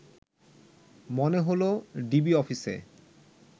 মনে হলো ডিবি অফিসে